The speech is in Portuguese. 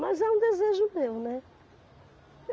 Mas é um desejo meu, né?